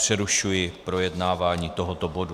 Přerušuji projednávání tohoto bodu.